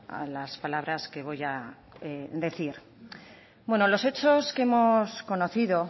a las palabras que voy a decir los hechos que hemos conocido